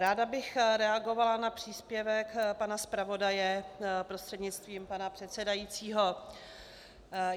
Ráda bych reagovala na příspěvek pana zpravodaje prostřednictvím pana předsedajícího.